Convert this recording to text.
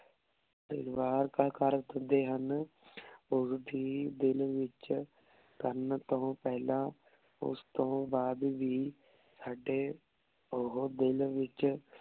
ਦਿਲ ਵਾਰ ਕਾ ਕਰ ਦੇਂਦੇ ਹਨ ਓਸ ਦੇ ਦਿਲ ਵਿਚ ਕਰਨ ਤੋਂ ਪੇਹ੍ਲਾਂ ਓਸ ਤੋਂ ਬਾਅਦ ਵੀ ਸਾਡੇ ਓਹੋ ਦਿਲ ਵਿਚ